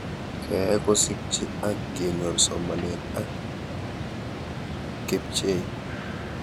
Keyai kosikchi ak kenyor somanet ak kepchei